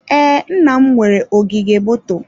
Ee, nna m nwere ogige moto.